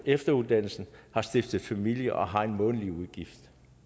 efteruddannelse har stiftet familie og har månedlige udgifter